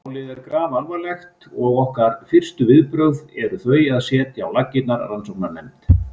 Málið er grafalvarlegt og okkar fyrstu viðbrögð eru þau að setja á laggirnar rannsóknarnefnd.